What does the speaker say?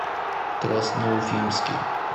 красноуфимске